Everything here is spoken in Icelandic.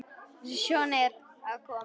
Sonja er að koma.